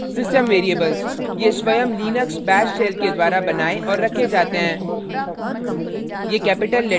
system variables ये स्वयं Linux bash shell के द्वारा बनाये और रखे जाते हैं